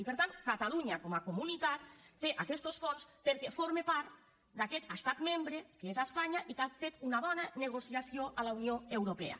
i per tant catalunya com a comunitat té aquests fons perquè forma part d’aquest estat membre que és espanya i que ha fet una bona negociació a la unió europea